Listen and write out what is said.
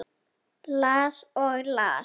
Las og las.